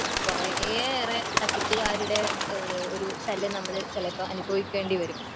കുറെയേറെ തട്ടിപ്പുകാരുടെ ഒരു ശല്യം ചിലപ്പോൾ അനുഭവിക്കണ്ട് വരും.